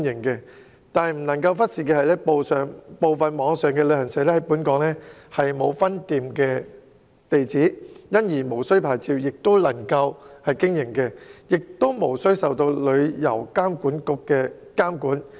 然而，不可忽視的是，部分網上旅行社在港沒有分店地址，因而無須領牌亦能夠經營，也無須受旅遊業監管局監管。